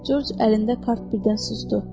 Corc əlində kart birdən susdu.